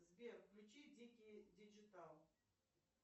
сбер включи дикий диджитал